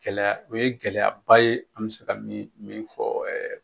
Gɛlɛya, o ye gɛlɛyaba ye, an bɛ se ka min, min fɔ